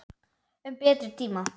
Um betri tíma.